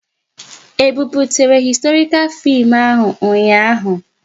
E buputere historikal fim ahu ụnyaahụ?